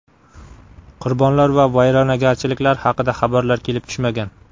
Qurbonlar va vayronagarchiliklar haqida xabarlar kelib tushmagan.